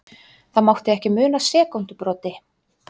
Það mátti ekki muna sekúndubroti.